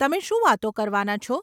તમે શું વાતો કરવાના છો?